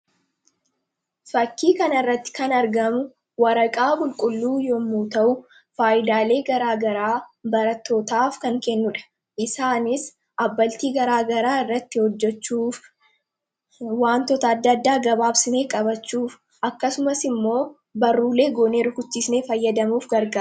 fakkii kanaa irratti kan argamu waraqaa qulqulluu yommu ta'u faayidaalee garaa garaa barattootaaf kan kennudha isaanis abbaltii garaa garaa irratti hojjechuuf waantoota addaaddaa gabaabsinee qabachuuf akkasumas immoo baruulee goonee rukuchisnee fayyadamuuf garaga